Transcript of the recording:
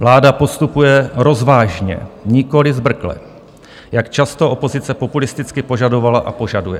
Vláda postupuje rozvážně, nikoliv zbrkle, jak často opozice populisticky požadovala a požaduje.